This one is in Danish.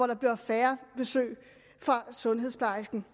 der bliver færre besøg fra sundhedsplejersken